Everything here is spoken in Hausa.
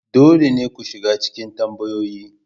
Dole ne ku shiga cikin tambayoyin.